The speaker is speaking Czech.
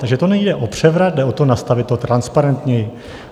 Takže to nejde o převrat, jde o to nastavit to transparentněji.